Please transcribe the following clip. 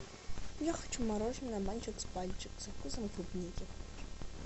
я хочу мороженое мальчик с пальчик со вкусом клубники